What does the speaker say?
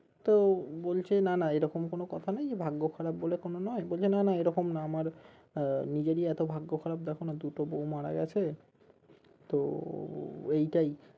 তো বলছে না না এরকম কোনো কথা নেই ভাগ্য খারাপ বলে কোনো নই বলছে না না এরকম না আমার আহ নিজেরই এতো ভাগ্য খারাপ দেখো না দুটো বউ মারা গেছে তো এইটাই